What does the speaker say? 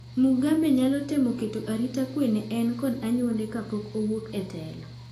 Mugabe nyalo temo keto arita kwee ne en kod anyuonde ka pok owuok e telo.